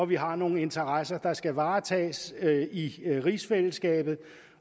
vi har nogle interesser der skal varetages i rigsfællesskabet